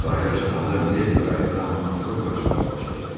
Sahilə çatanda Mileydi qayıqdan atılıb qaçmağa başladı.